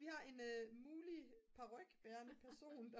vi har en mulig parykbærende person